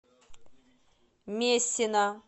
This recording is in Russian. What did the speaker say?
мессина